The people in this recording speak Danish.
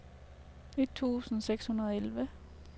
et tusind seks hundrede og elleve